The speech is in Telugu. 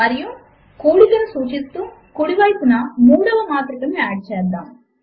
మరియు కూడికను సూచిస్తూ కుడి వైపున మూడవ మాత్రికను యాడ్ చేద్దాము